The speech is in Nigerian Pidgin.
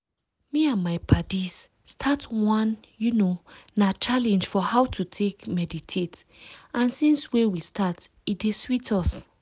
me and my paddies start one you know na challenge for how to take meditate and since wey we start e dey sweet us